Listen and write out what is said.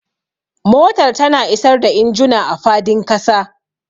Motar tana isar da injuna a fadin kasa.